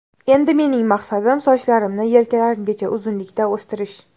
Endi mening maqsadim sochlarimni yelkalarimgacha uzunlikda o‘stirish.